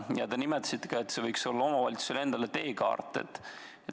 Te nimetasite, et see võiks olla teekart ka omavalitsustele.